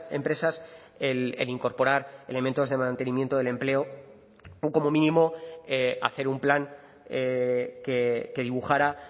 empresas el incorporar elementos de mantenimiento del empleo o como mínimo hacer un plan que dibujara